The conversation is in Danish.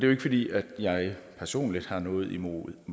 jo ikke fordi jeg personligt har noget imod